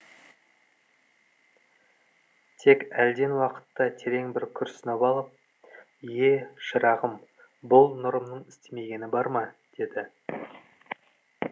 тек әлден уақытта терең бір күрсініп алып е шырағым бұл нұрымның істемегені бар ма деді